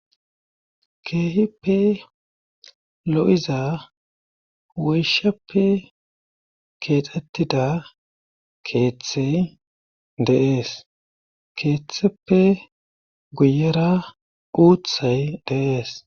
keehippe lo7iza woyshappe keexxettida keeththey deees keeththeppe guyera uuthay de'ees